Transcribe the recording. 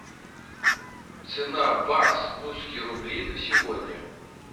цена бакс русские рубли на сегодня